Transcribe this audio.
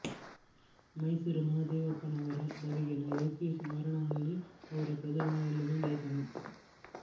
ಮೈಸೂರು ಮಹಾದೇವಪ್ಪನವರ ಬಗೆಗಿನ ಯೋಗೇಶ್ ಮಾರೇನಹಳ್ಳಿ ಅವರ ಪ್ರಜಾವಾಣಿಯಲ್ಲಿನ ಲೇಖನ